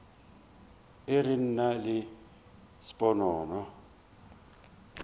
e re nna le sponono